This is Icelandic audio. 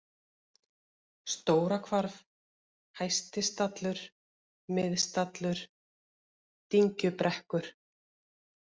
Stórahvarf, Hæstistallur, Miðstallur, Dyngjubrekkur